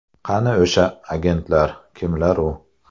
Qani o‘sha agentlar, kimlar u?